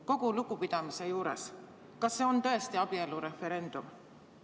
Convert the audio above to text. Kogu lugupidamise juures, kas see on tõesti abielureferendum?